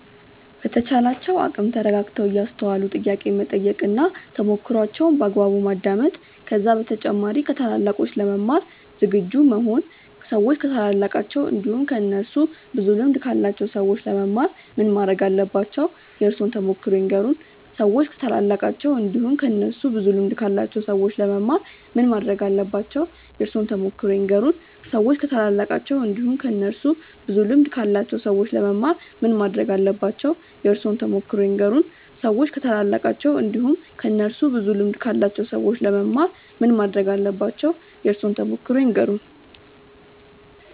በተቻላቸው አቅም ተረጋግተው እያስተዋሉ ጥያቄ መጠየቅ እና ተሞክሮዋቸውን በአግባቡ ማዳመጥ ከዛ በተጨማሪ ከታላላቆች ለመማር ዝግጁ መሆን ሰዎች ከታላላቃቸው እንዲሁም ከእነሱ ብዙ ልምድ ካላቸው ሰዎች ለመማር ምን ማረግ አለባቸው? የእርሶን ተሞክሮ ይንገሩን? ሰዎች ከታላላቃቸው እንዲሁም ከእነሱ ብዙ ልምድ ካላቸው ሰዎች ለመማር ምን ማረግ አለባቸው? የእርሶን ተሞክሮ ይንገሩን? ሰዎች ከታላላቃቸው እንዲሁም ከእነሱ ብዙ ልምድ ካላቸው ሰዎች ለመማር ምን ማረግ አለባቸው? የእርሶን ተሞክሮ ይንገሩን? ሰዎች ከታላላቃቸው እንዲሁም ከእነሱ ብዙ ልምድ ካላቸው ሰዎች ለመማር ምን ማረግ አለባቸው? የእርሶን ተሞክሮ ይንገሩን?